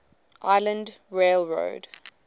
island rail road